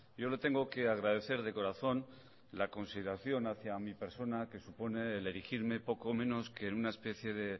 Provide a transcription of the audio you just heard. yo le tengo que agradecer de corazón la consideración hacia mi persona que supone el erigirme poco menos que en una especie de